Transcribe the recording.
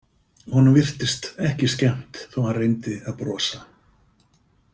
Honum virtist ekki skemmt þó að hann reyndi að brosa.